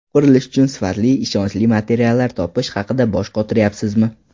Qurilish uchun sifatli, ishonchli materiallar topish haqida bosh qotiryapsizmi?